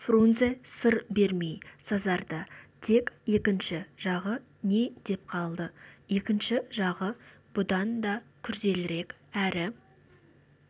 фрунзе сыр бермей сазарды тек екінші жағы не деп қалды екінші жағы бұдан да күрделірек әрі